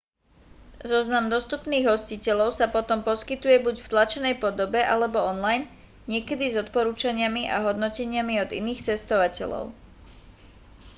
zoznam dostupných hostiteľov sa potom poskytuje buď v tlačenej podobe alebo online niekedy s odporúčaniami a hodnoteniami od iných cestovateľov